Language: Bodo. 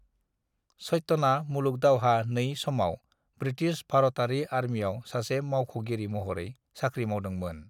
सत्यना मूलूग दावहा II समाव ब्रिथिस भारातारि आरमियाव सासे मावख'गिरि महरै साख्रि मावदों मोन ।